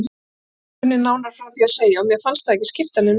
Enginn kunni nánar frá því að segja og mér fannst það ekki skipta neinu máli.